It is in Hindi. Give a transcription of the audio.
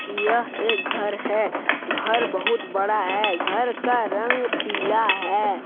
यह एक घर है घर बहुत बड़ा है घर का रंग पीला है।